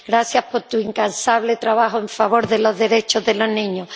Gracias por tu incansable trabajo en favor de los derechos de los niños.